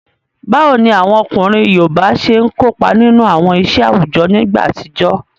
Báwo ni àwọn ọkùnrin yoòbá ṣe n kópa nínú àwọn iṣẹ́ àwùjọ nígbà àtijọ́?